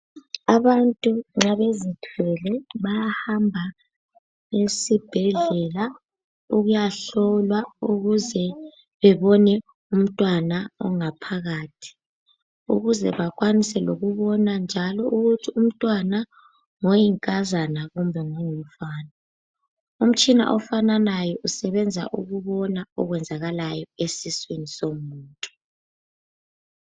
Abantu nxa bezithwele bayahamba esibhedlela ukuyahlolwa ukuze bebone umntwana ophakathi ukuze bakwanise lokubona njalo ukuthi umntwana ngoyinkazana kumbe ngongumfana. Umtshina ofanayo usebenza ukubona okwenzakakayo esiswini somuntu.